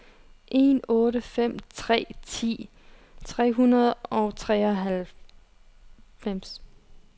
en otte fem tre ti tre hundrede og treoghalvfems